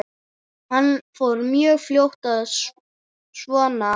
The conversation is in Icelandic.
Hann fór mjög fljótt svona.